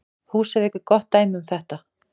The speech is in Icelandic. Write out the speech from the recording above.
Húsavík er gott dæmi um þetta.